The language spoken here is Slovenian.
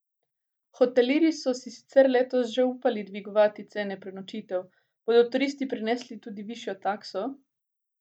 Hotelirji so si letos sicer že upali dvigovati cene prenočitev, bodo turisti prenesli tudi višjo takso?